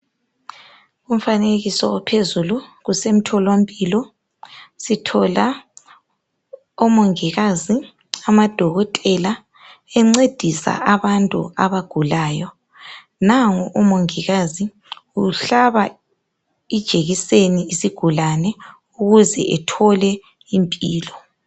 Umfanekiso ophezulu kusemtholampilo sithola omongikazi, amadokotela encedisa abantu abagulayo. Nangu umongikazi uhlaba ijekiseni isigulani ukuze ethole impilo.